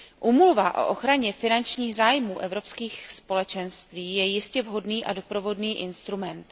Úmluva o ochraně finančních zájmů Evropských společenství je jistě vhodný a doprovodný instrument.